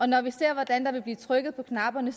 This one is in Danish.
når vi ser hvordan der vil blive trykket på knapperne